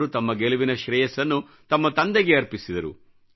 ಅವರು ತಮ್ಮ ಗೆಲುವಿನ ಶ್ರೇಯಸ್ಸನ್ನು ತಮ್ಮ ತಂದೆಗೆ ಅರ್ಪಿಸಿದರು